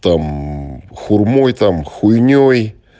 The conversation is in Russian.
там хурмой там хуйней